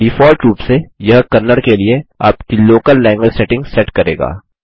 default रूप से यह कन्नड़ के लिए आपकी लोकल लैंग्वेज सेटिंग सेट करेगा